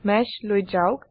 মেশ লৈ যাওক